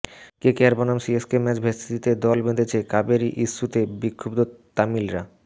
KKR বনাম CSK match ভেস্তে দিতে দল বেঁধেছে কাবেরী ইস্যুতে বিক্ষুব্ধ তামিলরা